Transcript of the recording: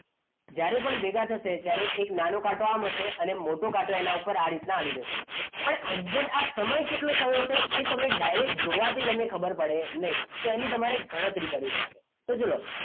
જ્યારે પણ ભેગા થશે ત્યારે એક નાનો કાંટો આમ હશે અને મોટો કાંટો એના ઉપર આ રીતના આવી જશે પણ exact સમય કેટલો થયો હશે એ તમે direct જોવાથી તમને ખબર પડે નહીં તો એની તમારે ગણતરી કરવી પડે તો ચલો